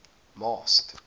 masked